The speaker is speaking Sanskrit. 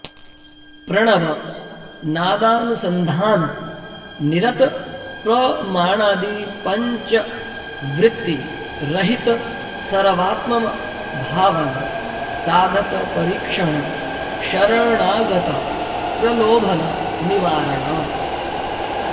प्रणव नादानुसन्धान निरत प्रमाणादि पञ्चवृत्ति रहित सर्वात्मभावन साधकपरीक्षण शरणागत प्रलोभन निवारण